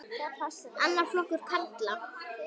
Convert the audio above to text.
Annar flokkur karla.